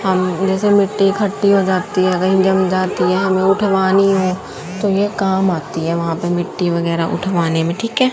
जैसे मिट्टी खट्टी हो जाती हैं कही जम जाती हैं वह उठवानी है तो ये काम आती हैं वहां पे मिट्टी वगैरा उठवाने में ठीक है।